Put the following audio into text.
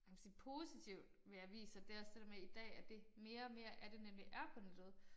Kan man sige positivt ved aviser det også det der med i dag at det mere og mere er det nemlig er på nettet